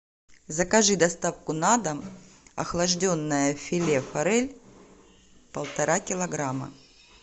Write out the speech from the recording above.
закажи доставку на дом охлажденное филе форель полтора килограмма